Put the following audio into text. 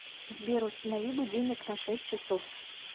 сбер установи будильник на шесть часов